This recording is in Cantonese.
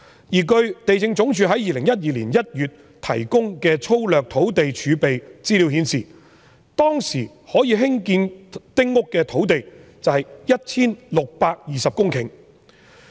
而據地政總署2012年1月提供粗略的土地儲備資料顯示，當時可以興建丁屋的土地有 1,620 公頃。